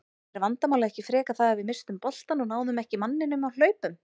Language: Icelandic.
Er vandamálið ekki frekar það að við misstum boltann og náðum ekki manninum á hlaupum?